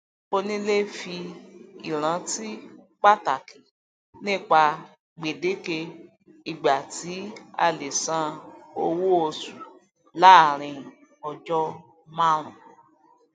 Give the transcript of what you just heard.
onílé fi ìrántí pataki nipa gbedeke ìgbà tí a lè san owó oṣù laarin ọjọ marun